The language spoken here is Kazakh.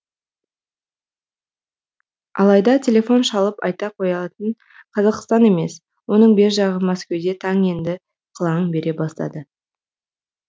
алайда телефон шалып айта қоятын қазақстан емес оның бер жағы мәскеуде таң енді қылаң бере бастады